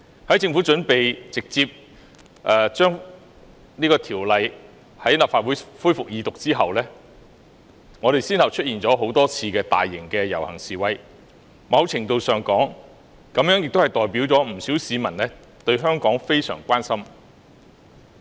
當政府準備直接把有關《條例草案》提交立法會恢復二讀後，香港先後出現了多次大型遊行示威，在某程度上，這代表了不少市民對香港非常關心。